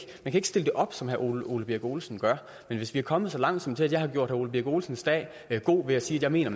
stille det op som herre ole birk olesen gør men hvis vi er kommet så langt som til at jeg har gjort herre ole birk olesens dag god ved at sige at jeg mener